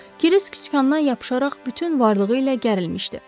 Kırisk sükandan yapışaraq bütün varlığı ilə gərilmişdi.